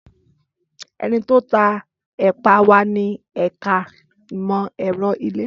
Ẹniti o ta epa wa ni ẹka imọ-ẹrọ ile